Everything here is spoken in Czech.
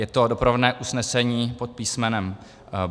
Je to doprovodné usnesení pod písm.